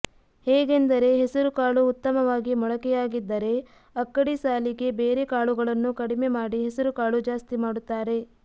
ಹೇಗೆಂದರೆ ಹೆಸರು ಕಾಳು ಉತ್ತಮವಾಗಿ ಮೊಳಕೆಯಾಗಿದ್ದರೆ ಅಕ್ಕಡಿ ಸಾಲಿಗೆ ಬೇರೆ ಕಾಳುಗಳನ್ನು ಕಡಿಮೆ ಮಾಡಿ ಹೆಸರುಕಾಳು ಜಾಸ್ತಿ ಮಾಡುತ್ತಾರೆ